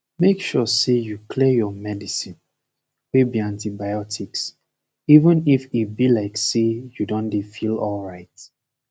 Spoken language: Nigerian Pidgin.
make sure say you clear your medicine wey be antibiotics even if e be like say u don dey feel alright